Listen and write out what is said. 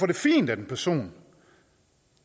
det fint at en person